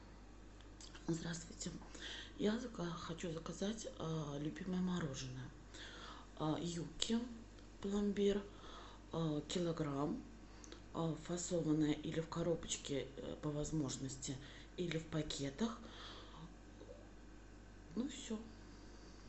здравствуйте я хочу заказать любимое мороженое юкки пломбир килограмм фасованное или в коробочке по возможности или в пакетах ну все